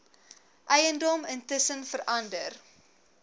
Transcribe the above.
eiendom intussen verander